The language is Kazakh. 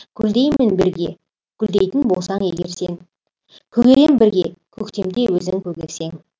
гүлдеймін бірге гүлдейтін болсаң егер сен көгерем бірге көктемде өзің көгерсең